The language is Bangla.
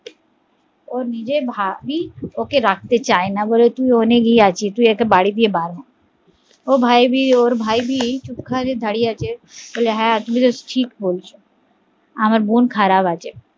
ও নিজের ভাবি ওকে রাখতে চায় না বলে তুই দোকানে গিয়ে আছিস তুই আগে বাড়ি দিয়ে বার হো, ওর ভাবি চুপ করে দাঁড়িয়ে আছে, বলে হ্যা তুমি ঠিকবলছো আমার বোন খারাপ আছে